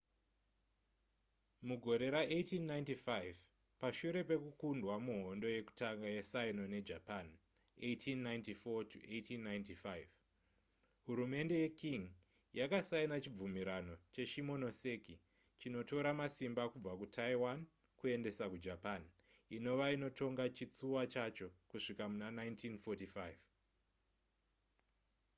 mugore ra1895 pashure pekukundwa muhondo yekutanga yesino nejapan 1894-1895 hurumende yeqing yakasaina chibvumirano cheshimonoseki chinotora masimba kubva kutaiwan kuendesa kujapan inova inotonga chitsuwa chacho kusvika muna 1945